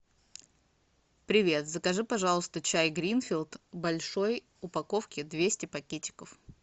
привет закажи пожалуйста чай гринфилд в большой упаковке двести пакетиков